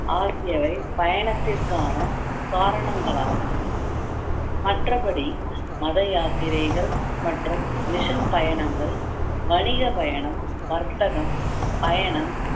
ஆகியவை பயணத்திற்கான காரணங்களாகும் மற்றபடி மத யாத்திரைகள் மற்றும் பயணங்கள் வணிகப் பயணம் வர்த்தகம் பயணம்